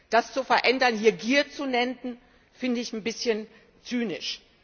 Das zu verändern hier Gier zu nennen, finde ich ein bisschen zynisch.